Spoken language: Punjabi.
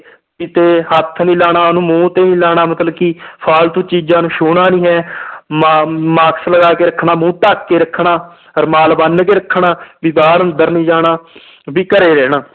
ਕਿਤੇ ਹੱਥ ਨੀ ਲਾਉਣਾ ਉਹਨੂੰ ਮੂੰਹ ਤੇ ਨੀ ਲਾਉਣਾ ਮਤਲਬ ਕਿ ਫਾਲਤੂ ਚੀਜ਼ਾਂ ਨੂੰ ਛੂੰਹਣਾ ਨੀ ਹੈ ਮਾ mask ਲਗਾ ਕੇ ਰੱਖਣਾ ਮੂੰਹ ਢੱਕ ਕੇ ਰੱਖਣਾ ਰੁਮਾਲ ਬੰਨ ਕੇ ਰੱਖਣਾ ਵੀ ਬਾਹਰ ਅੰਦਰ ਨੀ ਜਾਣਾ ਵੀ ਘਰੇ ਰਹਿਣਾ